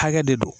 Hakɛ de don